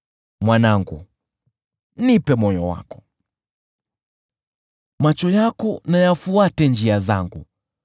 Mwanangu, nipe moyo wako, macho yako na yafuate njia zangu,